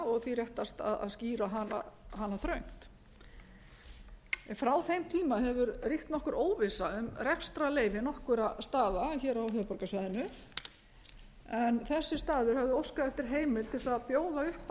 og því réttast að skýra hana þröngt frá þeim tíma hefur ríkt nokkur óvissa um rekstrarleyfi nokkurra staða hér á höfuðborgarsvæðinu en þessi staður hafði óskað eftir heimild til þess að bjóða upp